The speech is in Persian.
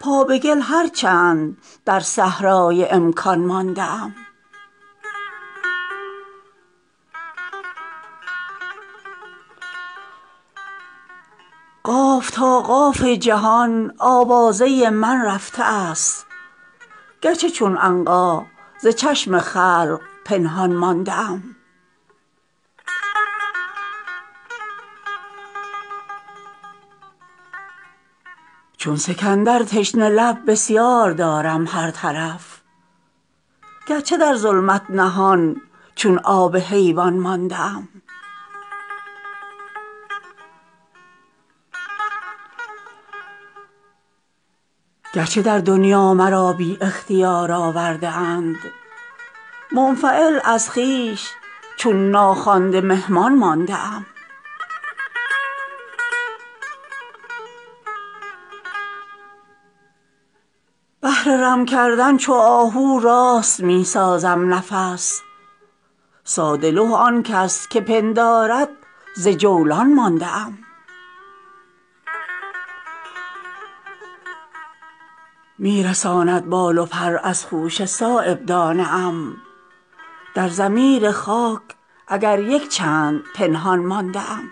پا به گل هرچند در صحرای امکان مانده ام نیستم نومید از تشریف سبز نوبهار گرچه چون نخل از برگ عریان مانده ام بی کمین نتوان به صید وحشی مطلب رسید از برای مصلحت در چاه کنعان مانده ام از مروت بر هم آوازان ترحم می کنم من نه از کج نغمگی بیرون بستان مانده ام قاف تا قاف جهان آوازه من رفته است گرچه چون عنقا ز چشم خلق پنهان مانده ام از بلندی شمع من پرتو به دور انداخته است غیر پندارد که من در زیر دامان مانده ام چون سکندر تشنه لب بسیار دارم هر طرف گرچه در ظلمت نهان چون آب حیوان مانده ام طوطی من فارغ است از چوب منع نیشکر از ادب دور از وصال شکرستان مانده ام گرچه در دنیا مرا بی اختیار آورده اند منفعل از خویش چون ناخوانده مهمان مانده ام بهر رم کردن چو آهو راست می سازم نفس ساده لوح آن کس که پندارد ز جولان مانده ام می رساند بال و پر از خوشه صایب دانه ام در ضمیر خاک اگر یک چند پنهان مانده ام